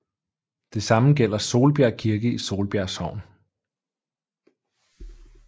Det samme gælder Solbjerg Kirke i Solbjerg Sogn